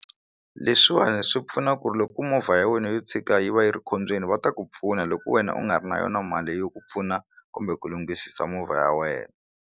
Leswiwani swi pfuna ku ri loko ku movha ya wena yo tshika yi va yi ri khombyeni va ta ku pfuna loko wena u nga ri na yona mali yo ku pfuna kumbe ku lunghisisa movha ya wena.